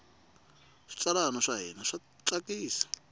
switsalwana swa hina swa tsakisa